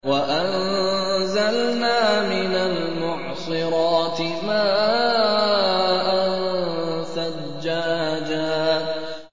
وَأَنزَلْنَا مِنَ الْمُعْصِرَاتِ مَاءً ثَجَّاجًا